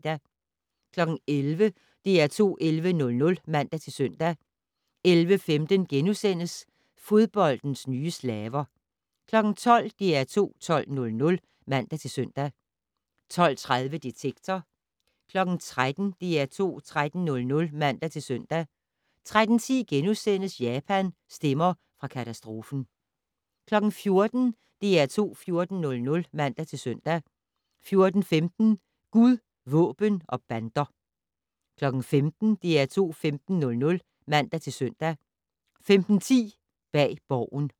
11:00: DR2 11:00 (man-søn) 11:15: Fodboldens nye slaver * 12:00: DR2 12:00 (man-søn) 12:30: Detektor 13:00: DR2 13:00 (man-søn) 13:10: Japan - stemmer fra katastrofen * 14:00: DR2 14:00 (man-søn) 14:15: Gud, våben og bander 15:00: DR2 15:00 (man-søn) 15:10: Bag Borgen